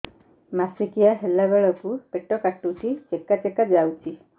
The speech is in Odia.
ମାସିକିଆ ହେଲା ବେଳକୁ ପେଟ କାଟୁଚି ଚେକା ଚେକା ଯାଉଚି